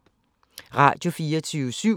Radio24syv